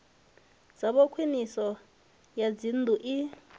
dzavho khwiniso ya dzinnḓu i